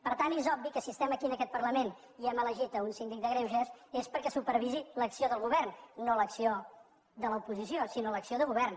per tant és obvi que si estem aquí en aquest parlament i hem elegit un síndic de greuges és perquè supervisi l’acció del govern no l’acció de l’oposició sinó l’acció del govern